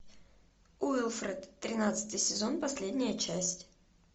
уилфред тринадцатый сезон последняя часть